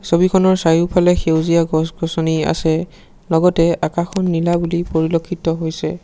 ছবিখনৰ চাৰিওফালে সেউজীয়া গছ গছনি আছে লগতে আকাশখন নীলা বুলি পৰিলক্ষিত হৈছে।